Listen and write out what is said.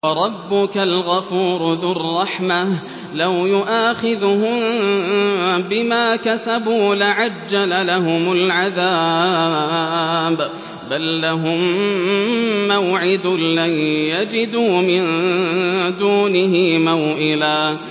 وَرَبُّكَ الْغَفُورُ ذُو الرَّحْمَةِ ۖ لَوْ يُؤَاخِذُهُم بِمَا كَسَبُوا لَعَجَّلَ لَهُمُ الْعَذَابَ ۚ بَل لَّهُم مَّوْعِدٌ لَّن يَجِدُوا مِن دُونِهِ مَوْئِلًا